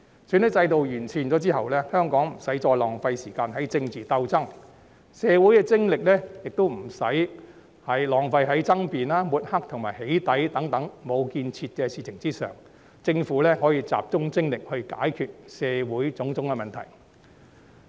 選舉制度完善後，香港不需要再浪費時間於政治鬥爭，社會精力亦不需要再浪費於爭辯、抹黑和"起底"等無建設的事情上，政府可以集中精力來解決社會的種種問題。